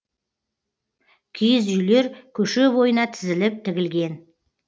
киіз үйлер көше бойына тізіліп тігілген